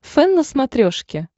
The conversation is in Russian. фэн на смотрешке